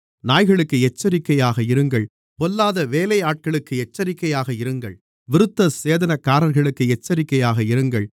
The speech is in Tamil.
நாய்களுக்கு எச்சரிக்கையாக இருங்கள் பொல்லாத வேலையாட்களுக்கு எச்சரிக்கையாக இருங்கள் விருத்தசேதனக்காரர்களுக்கு எச்சரிக்கையாக இருங்கள்